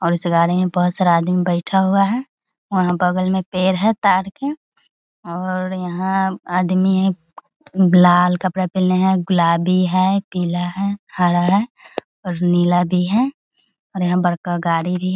और इस गाड़ी में बहुत सारा आदमी बैठा हुआ है और वहाँ बगल में पेड़ है ताड़ के और यहाँ आदमी लाल कपड़ा पहनले है गुलाबी है पीला है हरा है और नीला भी है और यहाँ बड़का गाड़ी भी --